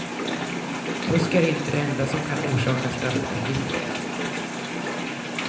Fusk är inte det enda som kan orsaka straffavgifter.